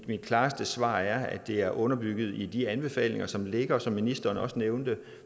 klareste svar er at det er underbygget i de anbefalinger som ligger og som ministeren også nævnte